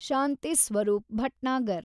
Shanti Swarup Bhatnagar